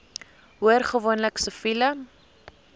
hoor gewoonlik siviele